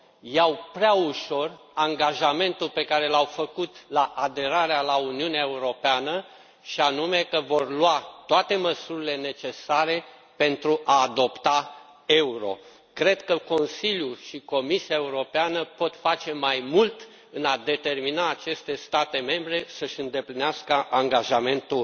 iau prea ușor angajamentul pe care l au făcut la aderarea la Uniunea Europeană, și anume că vor lua toate măsurile necesare pentru a adopta euro. Cred că Consiliul și Comisia Europeană pot face mai mult în a determina aceste state membre să își îndeplinească angajamentul